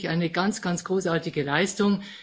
Das ist wirklich eine ganz, ganz großartige Leistung.